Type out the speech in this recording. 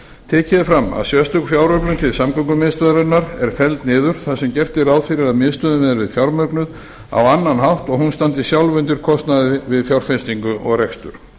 tekið er fram að sérstök fjáröflun til samgöngumiðstöðvarinnar er felld niður þar sem gert er ráð fyrir að miðstöðin verði fjármögnuð á annan hátt og hún standi sjálf undir kostnaði við fjárfestingu og rekstur